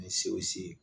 Ni sew se